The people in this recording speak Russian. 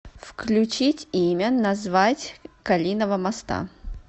включить имя назвать калинова моста